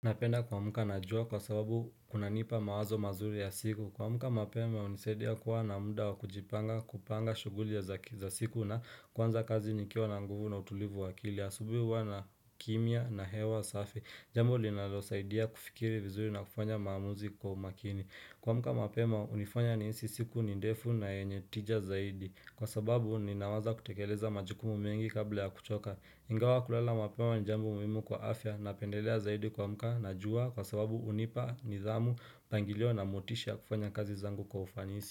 Napenda kuamka na jua kwa sababu kunanipa mawazo mazuri ya siku kuamka mapema hunisaidia kuwa na muda wa kujipanga kupanga shughuli ya za siku na kuanza kazi nikiwa na nguvu na utulivu wa akili asubuhi huwa na kimya na hewa safi Jambo linalosaidia kufikiri vizuri na kufanya maamuzi kwa umakini kuamka mapema hunifanya nihisi siku ni ndefu na yenye tija zaidi Kwa sababu ninawaza kutekeleza majukumu mengi kabla ya kuchoka Ingawa kulala mapema ni jambo muhimu kwa afya napendelea zaidi kuamka na jua kwa sababu hunipa, nidhamu, mpangilio na motisha wa kufanya kazi zangu kwa ufanisi.